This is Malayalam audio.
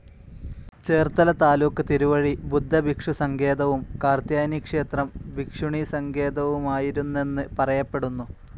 ചേർത്തല താലൂക്ക് തിരുവഴി ബുദ്ധഭിക്ഷുസങ്കേതവും കാർത്യായനിക്ഷേത്രം ഭിക്ഷുണീസങ്കേതവുമായിരുന്നെന്ന് പറയപ്പെടുന്നു.